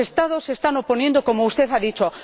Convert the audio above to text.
Los Estados se están oponiendo, como usted ha dicho.